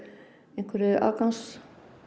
einhverri afgangsorku